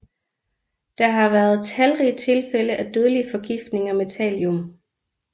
Der har været talrige tilfælde af dødelige forgiftninger med thallium